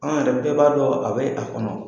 An yɛrɛ bɛɛ b'a dɔn a bɛ a kɔnɔ.